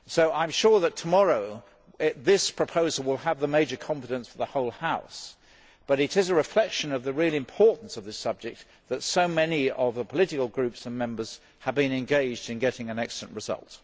I am sure that tomorrow this proposal will have the major confidence of the whole House, but it is a reflection of the real importance of this subject that so many of the political groups and Members have been engaged in getting an excellent result.